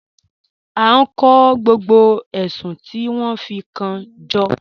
A n kọ gbogbo èṣùn ti wọn fi kan jọ.